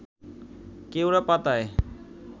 কেওড়া পাতায়